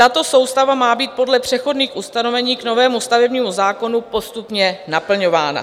Tato soustava má být podle přechodných ustanovení k novému stavebnímu zákonu postupně naplňována.